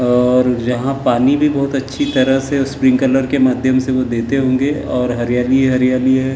और यहाँ पानी भी बहुत अच्छी तरह से स्प्रिंकलर के माध्यम से वो देते होंगे और हरियाली ही हरियाली है ।